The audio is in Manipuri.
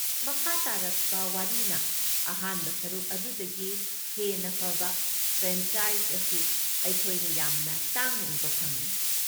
ꯃꯈꯥ ꯇꯥꯔꯛꯄ ꯋꯥꯔꯤꯅ ꯑꯍꯥꯟꯕ ꯁꯔꯨꯛ ꯑꯗꯨꯗꯒꯤ ꯍꯦꯟꯅ ꯐꯕ ꯐ꯭ꯔꯦꯟꯆꯥꯏꯖ ꯑꯁꯤ ꯑꯩꯈꯣꯏꯅ ꯌꯥꯝꯅ ꯇꯥꯡꯅ ꯎꯕ ꯐꯪꯏ꯫